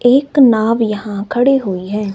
एक नाव यहां खड़े हुई है।